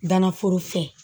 Danna foro fɛ